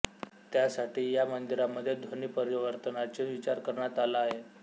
त्यासाठी या मंदिरामध्ये ध्वनीपरावर्तनाची विचार करण्यात आला आहे